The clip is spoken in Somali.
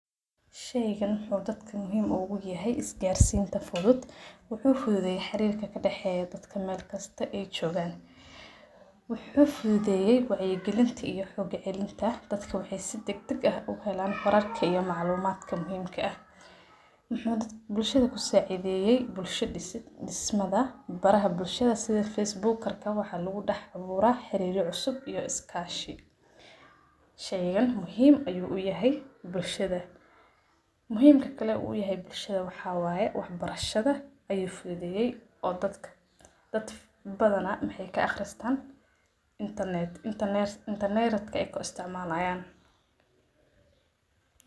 Sheyqan wuxu dadk muhiim uga yahay iskasrinta fudhut. Wuxu fudhedhey xarirka kadaxay dadka meel walba ayjogan. Wuxu fudhudhey wacya galinta iyo xoog cilinta dadka waxay si dagdag ah uhelan wararka iyo maclumaadka muhimka aah muxu bulshada kusacidhayey bulsha dismadha baraha bulshada sidha Facebookarka waxa lagudax awura xarira cusub iyo iskashi. Shayqan muhiim ayu uyahay bulshada muhimka kale u yahay bulshada waxawaye wax barshada ayu fudhedheye oo dad badhana maxay ka aqristan internetka ayaqo isticmalayan.